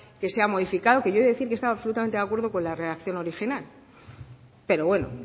que se ha modificado que yo he de decir que estaba absolutamente de acuerdo con la redacción original pero bueno